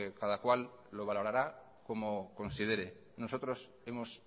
cada cual lo valorará como considere nosotros hemos